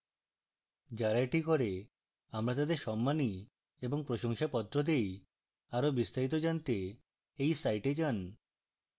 যারা এটা করি আমরা তাদের সম্মানী এবং প্রশংসাপত্র দেই আরো বিস্তারিত জানতে we site যান